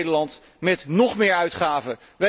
Die beloont Nederland met nóg meer uitgaven.